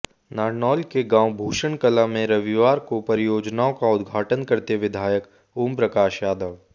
नारनौल के गांव भूषण कलां में रविवार को परियोजनाओं का उद्घाटन करते विधायक ओमप्रकाश यादव